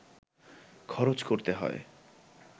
খরচ করতে হয়